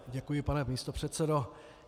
Děkuji, pane místopředsedo.